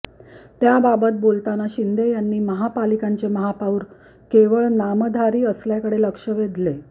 त्याबाबत बोलताना शिंदे यांनी महापालिकांचे महापौर केवळ नामधारी असल्याकडे लक्ष वेधले